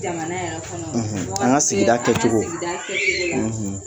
Jamana yɛrɛ kɔnɔ an ka sigida kɛ cogo f'an ka se an ka sigida kɛ cogo la